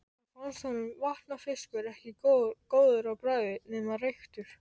Svo fannst honum vatnafiskur ekki góður á bragðið nema reyktur.